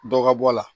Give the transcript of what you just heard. Dɔ ka bɔ a la